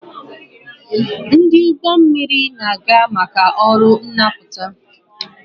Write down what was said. Ndị ụgbọ mmiri na-aga maka ọrụ nnapụta